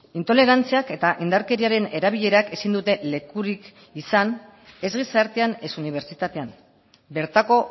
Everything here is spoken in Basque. intolerantziak eta indarkeriaren erabilerak ezin dute lekurik izan ez gizartean ez unibertsitatean bertako